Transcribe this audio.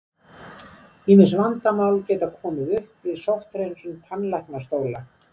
Ýmis vandamál geta komið upp við sótthreinsun tannlæknastóla.